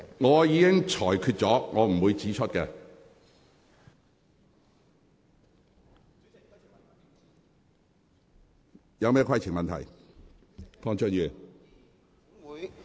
我已經作出裁決，不會在此指出相關字眼。